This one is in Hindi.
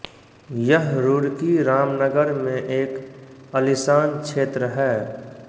यह रुड़की रामनगर में एक अलिशान क्षेत्र है